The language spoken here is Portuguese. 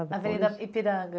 Avenida Ipiranga.